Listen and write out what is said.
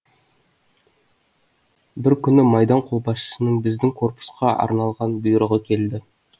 бір күні майдан қолбасшысының біздің корпусқа арналған бұйрығы келді